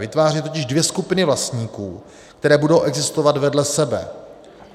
Vytváří totiž dvě skupiny vlastníků, které budou existovat vedle sebe.